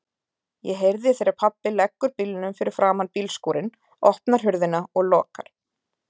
Ég heyri þegar pabbi leggur bílnum fyrir framan bílskúrinn, opnar hurðina og lokar.